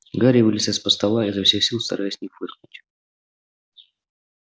гарри вылез из-под стола изо всех сил стараясь не фыркнуть